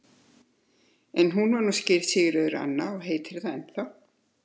En hún var nú skírð Sigríður Anna og heitir það ennþá.